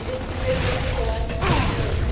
E desse primeiro grupo escolar, o que você se lembra?